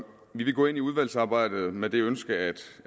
vi vil gå ind i udvalgsarbejdet med det ønske